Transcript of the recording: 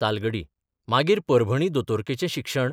तालगडी मागीर परभणी दोतोरकेचें शिक्षण...